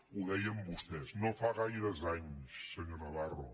ho deien vostès no fa gaires anys senyor navarro